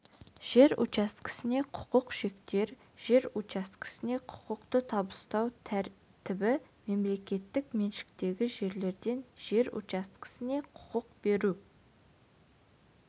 жер учаскесіне құқық шектер жер учаскесіне құқықты табыстау тәртібі мемлекеттік меншіктегі жерлерден жер учаскесіне құқық беру